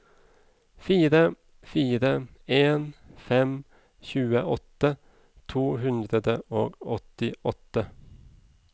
fire fire en fem tjueåtte to hundre og åttiåtte